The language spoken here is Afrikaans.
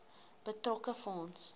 betrokke fonds